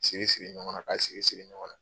Siri siri ɲɔgɔn na, k'a siri siri ɲɔgɔn na.